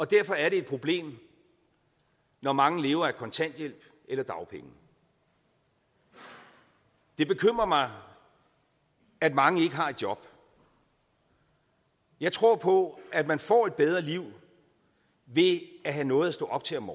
derfor er det et problem når mange lever af kontanthjælp eller dagpenge det bekymrer mig at mange ikke har et job jeg tror på at man får et bedre liv ved at have noget at stå op til om